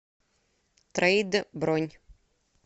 трейд бронь